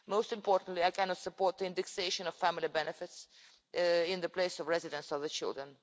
Most importantly, I cannot support the indexation of family benefits in the place of residence of the children.